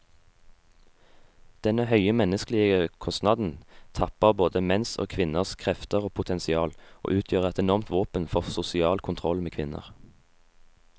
Denne høye menneskelige kostnaden tapper både menns og kvinners krefter og potensial, og utgjør et enormt våpen for sosial kontroll med kvinner.